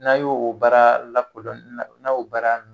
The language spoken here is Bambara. N'a ye o baara lakodɔnni, n'a y'o baara nunnu